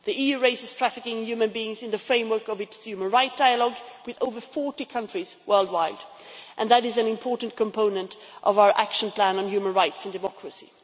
The EU raises trafficking in human beings in the framework of its human rights dialogue with over 40 countries worldwide, and that is an important component of our action plan on human rights and democracy.